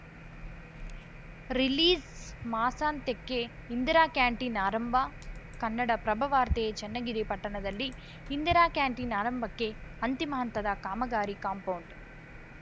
ರಿಲೀಸ್‌ಮಾಸಾಂತ್ಯಕ್ಕೆ Indira canteen ಆರಂಭ ಕನ್ನಡಪ್ರಭವಾರ್ತೆ ಚನ್ನಗಿರಿ ಪಟ್ಟಣದಲ್ಲಿ ಇಂದಿರಾ ಕ್ಯಾಂಟೀನ್‌ ಆರಂಭಕ್ಕೆ ಅಂತಿಮ ಹಂತದ ಕಾಮಗಾರಿ ಕಾಂಪೌಂಡ್‌